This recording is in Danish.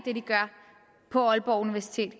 gør på aalborg universitet